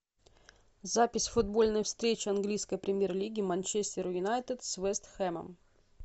запись футбольной встречи английской премьер лиги манчестер юнайтед с вест хэмом